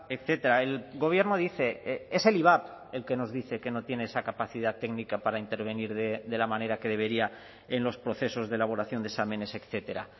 etcétera el gobierno dice es el ivap el que nos dice que no tiene esa capacidad técnica para intervenir de la manera que debería en los procesos de elaboración de exámenes etcétera